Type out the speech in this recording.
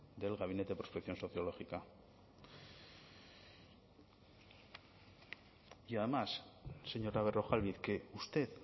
del gabinete de prospección sociológica y además señora berrojalbiz que usted